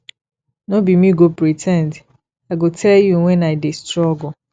no be me go pre ten d i go tell you wen i dey struggle